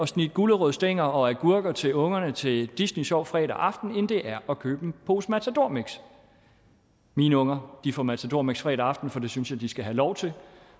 snitte gulerodsstænger og agurker til ungerne til disney sjov fredag aften end det er at købe en pose matador mix mine unger får matador mix fredag aften for det synes jeg de skal have lov til